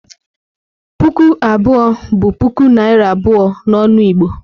Puku abụọ bụ puku naira abụọ n'ọnụ Igbo.